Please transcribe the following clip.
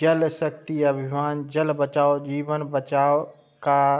जल शक्ति अभिमान जल बचाओ जीवन बचाओ का --